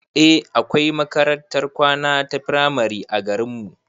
Eh akwai makarantar kwana ta firamare a garinmu